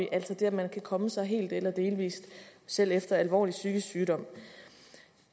altså det at man kan komme sig helt eller delvis selv efter alvorlig psykisk sygdom